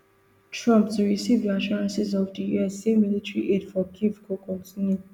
trump to receive reassurances of di us say military aid for kyiv go kontinue